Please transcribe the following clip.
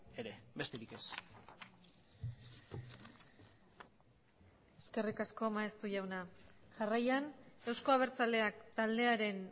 ere besterik ez eskerrik asko maeztu jauna jarraian eusko abertzaleak taldearen